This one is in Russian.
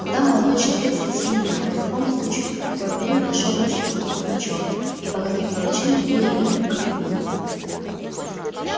тогда молодой человек спросил меня по какому случаю и в какое время вошёл я в службу к пугачёву и по каким поручениям был я им употреблён